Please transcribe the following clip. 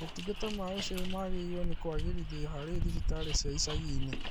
Motungata ma ũciari magĩrĩirwo nĩ kwagĩrithio harĩ thibitarĩ cia icagi-inĩ